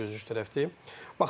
Niyə üzücü tərəfdir?